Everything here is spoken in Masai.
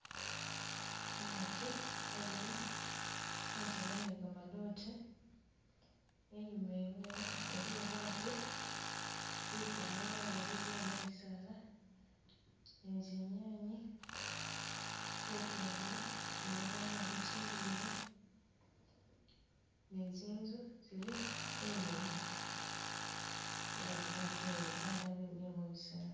Umutu wemile kunzila ni gamadoote, inyuma iwehe iliyo batu bikaale balala bemile mu bisaala ni zinyanye, butungulu kumeza niwo bitindiilo ni zinzu zili inyuma ye babatu ni babana bemile mu bisaala.